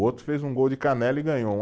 O outro fez um gol de canela e ganhou um